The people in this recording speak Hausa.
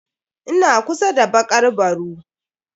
Ina kusa da bakar baru.